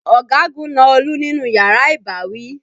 Ọ̀gagun na Olú nínú yàrá ìbáwí.